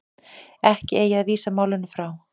Ekki eigi að vísa málinu frá